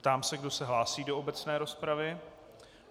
Ptám se, kdo se hlásí do obecné rozpravy.